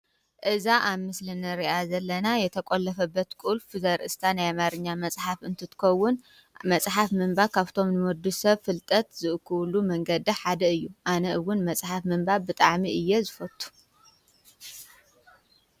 እዛ ኣብ ምስልን ርኣ ዘለና የተቖለፈ በት ቁልፍ ዘርእስካ ናይማርኛ መጽሓፍ እንትትኮውን መጽሓፍ ምንባ ካብቶም ንወዱ ሰብ ፍልጠት ዝእኽብሉ መንገዳ ሓደ እዩ ኣነ ውን መጽሓፍ ምንባ ብጥዓሚ እየ ዝፈቱ።